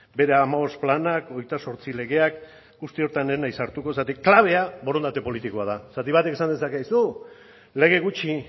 bere hamabost planak hogeita zortzi legeak guzti horretan ez naiz sartuko zergatik klabea borondate politikoa da batek esan dezake aizu lege gutxi